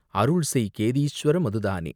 அருள்செய் கேதீஷ்வர மதுதானே